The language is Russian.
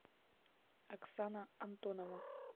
оксана антонова